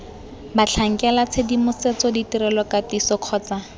batlhankela tshedimosetso ditirelo katiso kgotsa